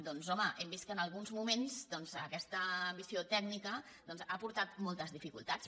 doncs home hem vist que en alguns moments aquesta ambició tècnica ha portat moltes dificultats